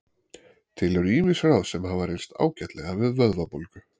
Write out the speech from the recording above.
Til eru ýmis ráð sem hafa reynst ágætlega við vöðvabólgu.